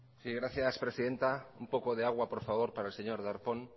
sí gracias presidenta un poco de agua por favor para el señor darpón